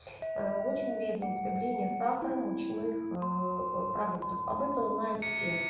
очень вредно употребление сахара мучных продуктов об этом знают все